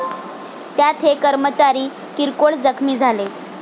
त्यात हे कर्मचारी किरकोळ जखमी झाले.